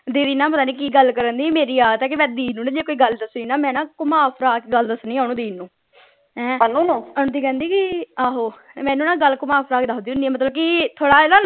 ਦੀਦੀ ਨਾ ਪਤਾ ਨਹੀਂ ਕਿ ਗੱਲ ਕਰਨ ਢਈ ਮੇਰੀ ਆਦਤ ਏ ਕੇ ਮੈਂ ਦੀਦੀ ਨੂੰ ਜੇ ਕੋਈ ਗੱਲ ਦਸਣੀ ਨਾ ਮੈਂ ਨਾ ਘੁਮਾ ਫਿਰਾ ਕੇ ਗੱਲ ਦਸਣੀ ਆ ਓਹਨੂੰ ਦੀਦੀ ਨੂੰ ਕਹਿੰਦੀ ਕਿ ਆਹੋ ਮੈਨੂੰ ਨਾ ਗੱਲ ਘੁਮਾ ਫਿਰਾ ਕੇ ਦਸਦੀ ਹੁਣਿ ਆ ਮਤਲਬ ਕਿ ਥੋੜਾ ਇਹਦਾ